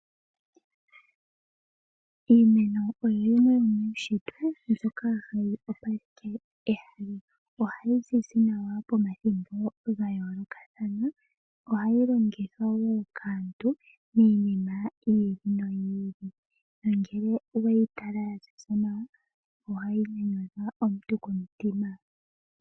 Iimeno oyo yimwe yomuushitwe mbyoka hayi opaleke ehala, ohayi zizi nawa pomathimbo ga yoolokathana. Oha yi longithwa wo kaantu miinima yiili noyiili nongele oweyi tala nawa ohayi nyanyudha aantu komutima.